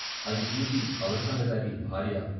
అది చూసి అవదాన్లగారి భార్య.